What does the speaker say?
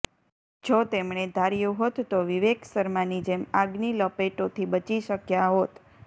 જો તેમણે ધાર્યું હોત તો વિવેક શર્માની જેમ આગની લપેટોથી બચી શક્યા હોત